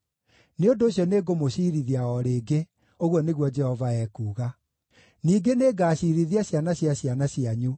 “Nĩ ũndũ ũcio nĩngũmũciirithia o rĩngĩ,” ũguo nĩguo Jehova ekuuga. “Ningĩ nĩngaciirithia ciana cia ciana cianyu.